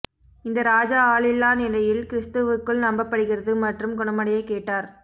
இந்த ராஜா ஆளில்லா நிலையில் கிறிஸ்துவுக்குள் நம்பப்படுகிறது மற்றும் குணமடைய கேட்டார்